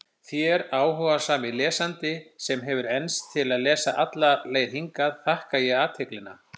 Þér, áhugasami lesandi, sem hefur enst til að lesa alla leið hingað, þakka ég athyglina.